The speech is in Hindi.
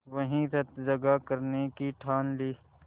वहीं रतजगा करने की ठान ली